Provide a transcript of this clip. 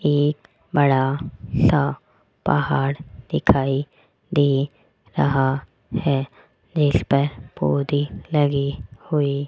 एक बड़ा सा पहाड़ दिखाई दे रहा है जिसपर पौधे लगे हुए--